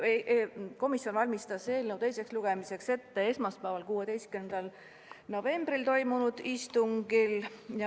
Komisjon valmistas eelnõu teiseks lugemiseks ette esmaspäeval, 16. novembril toimunud istungil.